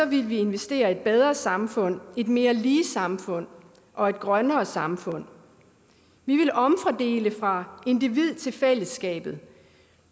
ville vi investere i et bedre samfund et mere lige samfund og et grønnere samfund vi ville omfordele fra individet til fællesskabet